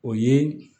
O ye